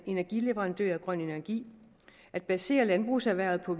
energileverandør af grøn energi at basere landbrugserhvervet på